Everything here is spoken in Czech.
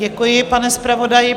Děkuji, pane zpravodaji.